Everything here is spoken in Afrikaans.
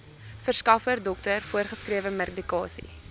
verskaffer dokter voorgeskrewemedikasie